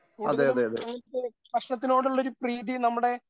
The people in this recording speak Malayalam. കൂടുതലും അങ്ങനെ ഭക്ഷണത്തിനോടുള്ളൊരു പ്രീതി നമ്മുടെ